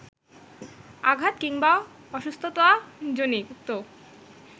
আঘাত কিংবা অসুস্থতাজনিত